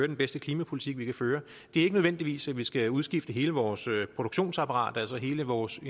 den bedste klimapolitik vi kan føre ikke nødvendigvis er at vi skal udskifte hele vores produktionsapparat altså at hele vores